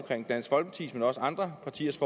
andet dansk folkepartis men også andre partiers